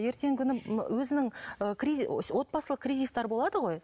ертеңгі күні ы өзінің ыыы отбасылық кризистары болады ғой